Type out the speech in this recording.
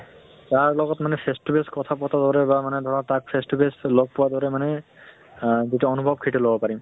তাৰ লগত মানে face to face কথা পতা দৰে বা মানে ধৰা তাক face to face লগ পোৱা দৰে মানে আহ যিটো অনুভৱ সেইটো লব পাৰিম